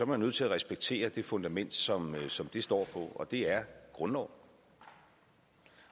man nødt til at respektere det fundament som som det står på og det er grundloven